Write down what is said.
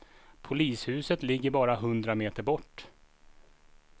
Polishuset ligger bara hundra meter bort.